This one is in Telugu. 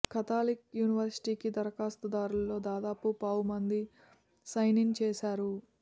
కాథలిక్ యునివర్సిటీకి దరఖాస్తుదారుల్లో దాదాపు పావు మంది సైన్ ఇన్ చేయరు